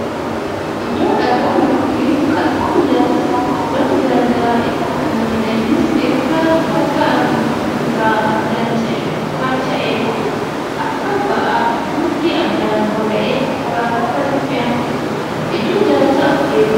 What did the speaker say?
Iddoo dhagaa yookan kattaan ijaarsaf oolan gara garaa itti aragmaniidha. Innis ergaa bakka argamu irraa addaan kaacha'een booda akka baa'aaf tolutti addaan baba'ee konkolaataa irratti fe'amuun iddoo ijaarsaa geeffama. Iddoo inaarsattis dhimoota heduu ni oola.